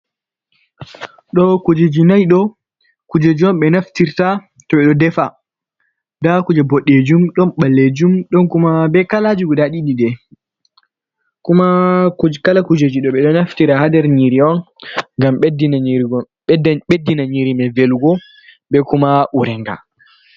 Ɗo kujeji nayi ɗo, kujeji on ɓe naftirta to ɓe ɗo defa, ndaa kuje boɗeejum, ɗon ɓaleejum, ɗon kuma be kalaaji guda ɗiɗi day, be kuma kala kujeji ɗo. Ɓe ɗo naftira haa nder nyiiri on, ngam ɓeddina nyiiri may velugo, be kuma ureenga.